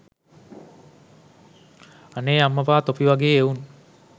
අනේ අම්මපා තොපි වගේ එවුන්